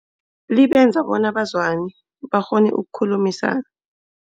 Libenza bona bazwane bakghone ukukhulumisana.